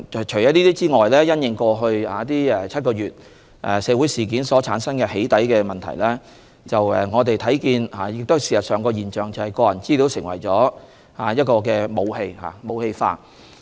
此外，從過去7個月的社會事件所產生的"起底"問題可見，事實上，個人資料已成為一種武器或被"武器化"。